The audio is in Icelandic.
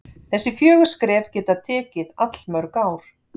Þessi fjögur skref geta tekið allmörg ár.